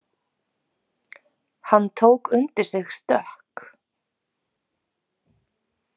Hann tók undir sig stökk.